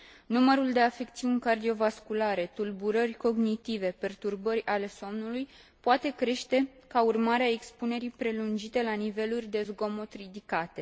Numărul de afecțiuni cardiovasculare, tulburări cognitive, perturbări ale somnului poate crește ca urmare a expunerii prelungite la niveluri de zgomot ridicate.